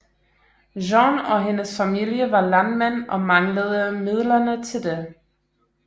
Jeanne og hendes familie var landmænd og manglede midlerne til det